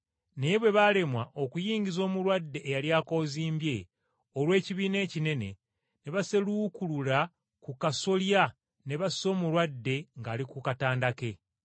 Naye bwe balemwa okuyingiza omulwadde eyali akoozimbye olw’ekibiina ekinene ne baseluukulula ku kasolya ne bassa omulwadde ng’ali ku katanda ke.